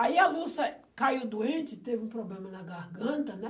Aí a Lúcia caiu doente, teve um problema na garganta, né?